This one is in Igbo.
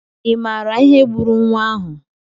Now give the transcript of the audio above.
I maara ihe gburu nwa ahụ?